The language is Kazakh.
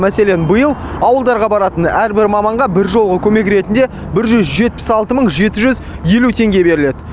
мәселен биыл ауылдарға баратын әрбір маманға бір жолғы көмек ретінде бір жүз жетпіс алты мың жеті жүз елу теңге беріледі